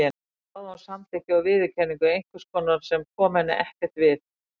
Hvers vegna þráði hún samþykki og viðurkenningu einhvers sem kom henni ekkert við?